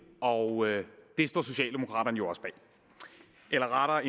og det står socialdemokraterne jo også bag eller rettere